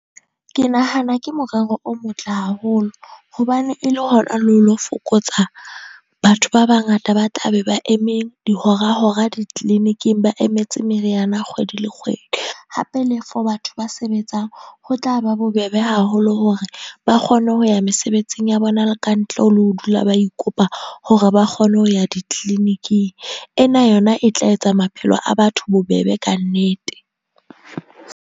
Ke nahana ke morero o motle haholo, hobane e le hona le ho lo fokotsa batho ba bangata ba tla be ba eme dihora-hora di-clinic-ing ba emetse meriana kgwedi le kgwedi. Hape le for batho ba sebetsang ho tla ba bobebe haholo hore ba kgone ho ya mesebetsing ya bona le ka ntle le ho dula ba ikopa hore ba kgone ho ya di-clinic-ing. Ena yona e tla etsa maphelo a batho bobebe ka nnete.